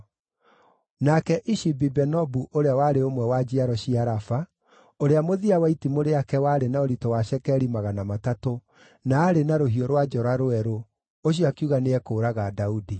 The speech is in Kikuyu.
Nake Ishibi-Benobu ũrĩa warĩ ũmwe wa njiaro cia Rafa, ũrĩa mũthia wa itimũ rĩake warĩ na ũritũ wa cekeri magana matatũ, na aarĩ na rũhiũ rwa njora rwerũ, ũcio akiuga nĩekũũraga Daudi.